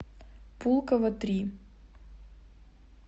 пулково три